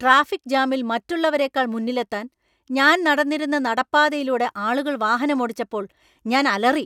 Traffic ജാമിൽ മറ്റുള്ളവരെക്കാൾ മുന്നിലെത്താൻ, ഞാൻ നടന്നിരുന്ന നടപ്പാതയിലൂടെ ആളുകൾ വാഹനമോടിച്ചപ്പോൾ ഞാന്‍ അലറി.